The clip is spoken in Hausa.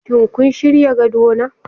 Shin kun shirya gadona?